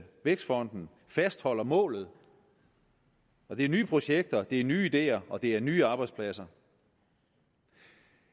vækstfonden fastholder målet og det er nye projekter det er nye ideer og det er nye arbejdspladser